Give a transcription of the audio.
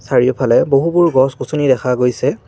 চাৰিওফালে বহুবোৰ গছ গছনি দেখা গৈছে।